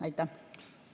Aitäh!